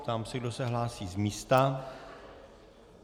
Ptám se, kdo se hlásí z místa.